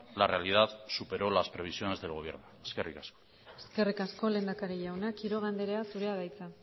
la realidad superó las previsiones del gobierno eskerrik asko eskerrik asko lehendakari jauna quiroga andrea zurea da hitza